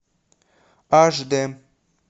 аш д